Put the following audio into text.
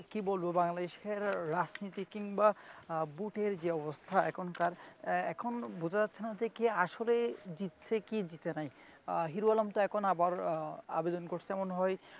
কি বলব বাংলাদেশের রাজনীতি কিনবা আহ বুথের যা অবস্থা এখনকার্ এখন বোঝা যাচ্ছে না যে আসলে জিতছে কি জিতছে নাই আহ হিরু আলম তো এখন আবার আহ আবেদন করছে মনে হয়,